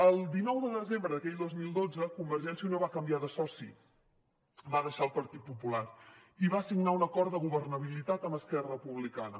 el dinou de desembre d’aquell dos mil dotze convergència i unió va canviar de soci va deixar el partit popular i va signar un acord de governabilitat amb esquerra republicana